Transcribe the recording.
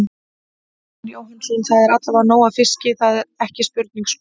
Arnar Jóhannsson: Það er allavega nóg af fiski, það, það er ekki spurning sko?